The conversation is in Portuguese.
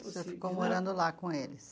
Você ficou morando lá com eles?